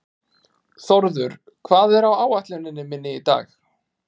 Þórður, hvað er á áætluninni minni í dag?